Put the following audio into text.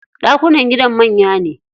Ɗakunan gidan manya ne.